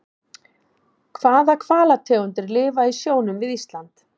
Hvaða hvalategundir lifa í sjónum við Ísland?